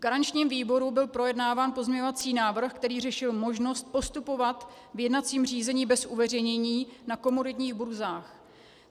V garančním výboru byl projednáván pozměňovací návrh, který řešil možnost postupovat v jednacím řízení bez uveřejnění na komoditních burzách.